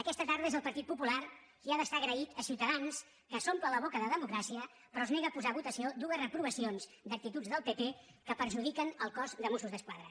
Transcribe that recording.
aquesta tarda és el partit popular qui ha d’estar agraït a ciutadans que s’omple la boca de democràcia però es nega a posar a votació dues reprovacions d’actituds del pp que perjudiquen el cos de mossos d’esquadra